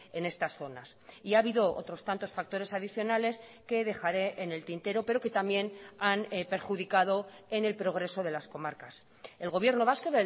en estas zonas y ha habido otros tantos factores adicionales que dejaré en el tintero pero que también han perjudicado en el progreso de las comarcas el gobierno vasco